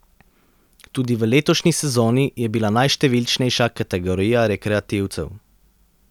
Tudi v letošnji sezoni je bila najštevilčnejša kategorija rekreativcev.